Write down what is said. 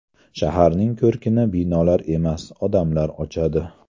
Shaharning ko‘rkini binolar emas, odamlar ochadi.